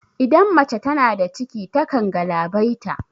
Idan mace tana da ciki ta kan galabaita